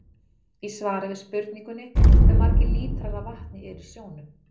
Í svari við spurningunni Hve margir lítrar af vatni eru í sjónum?